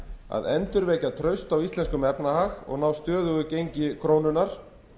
að endurvekja traust á íslenskum efnahag og ná stöðugu gengi krónunnar